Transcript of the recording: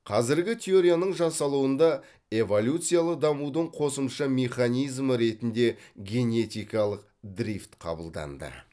қазіргі теорияның жасалуында эволюциялық дамудың қосымша механизмі ретінде генетикалық дрифт қабылданды